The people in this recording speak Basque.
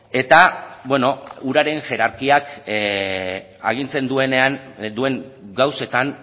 eta beno uraren hierarkiak agintzen duen gauzetan